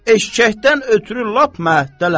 Eşşəkdən ötrü lap məhətdəyəm.